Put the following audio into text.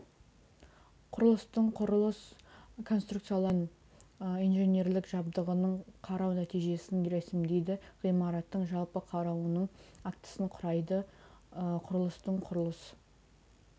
құрылыстың құрылыс конструкциялары мен инженерлік жабдығының қарау нәтижесін ресімдейді ғимараттың жалпы қарауының актісін құрайды құрылыстың құрылыс